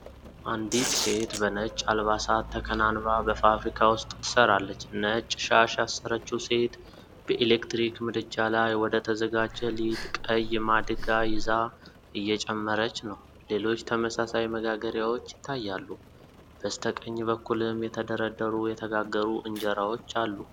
አንዲት ሴት በነጭ አልባሳት ተከናንባ በፋብሪካ ውስጥ ትሰራለች። ነጭ ሻሽ ያሰረችው ሴት፣ በኤሌክትሪክ ምድጃ ላይ ወደ ተዘጋጀ ሊጥ ቀይ ማድጋ ይዛ እየጨመረች ነው። ሌሎች ተመሳሳይ መጋገሪያዎች ይታያሉ፤ በስተቀኝ በኩልም የተደረደሩ የተጋገሩ እንጀራዎች አሉ።